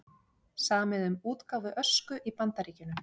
Samið um útgáfu Ösku í Bandaríkjunum